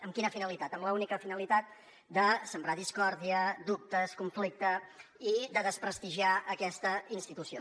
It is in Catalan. amb quina finalitat amb l’única finalitat de sembrar discòrdia dubtes conflicte i de desprestigiar aquesta institució